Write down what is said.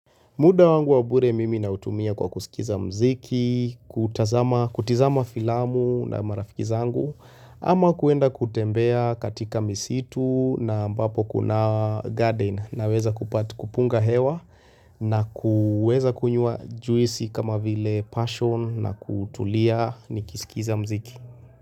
Muda wangu wa bure mimi na utumia kwa kusikiza mziki, kutizama filamu na marafiki zangu, ama kuenda kutembea katika misitu na ambapo kuna garden na weza kupunga hewa na kuweza kunywa juisi kama vile passion na kutulia nikisikiza mziki.